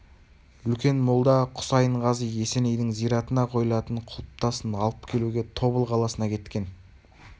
үлкен молда хұсайын-ғази есенейдің зиратына қойылатын құлпытасын алып келуге тобыл қаласына кеткен